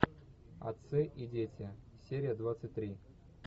отцы и дети серия двадцать три